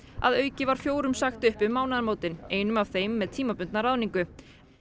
að auki var fjórum sagt upp um mánaðamótin einum af þeim með tímabundna ráðningu